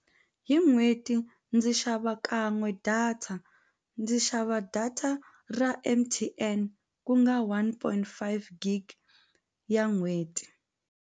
Hi n'hweti ndzi xava kan'we data ndzi xava data ra M_T_N ku nga one point five gig ya n'hweti.